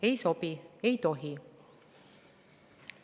Ei sobi, ei tohi.